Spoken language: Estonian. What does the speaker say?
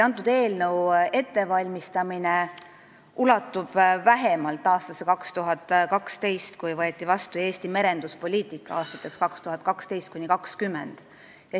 Selle eelnõu ettevalmistamine ulatub vähemalt aastasse 2012, kui võeti vastu Eesti merenduspoliitika aastateks 2012–2020.